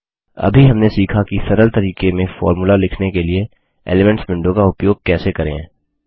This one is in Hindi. अभी हमने सीखा कि सरल तरीके में फॉर्मूला लिखने के लिए एलिमेंट्स विंडो का उपयोग कैसे करें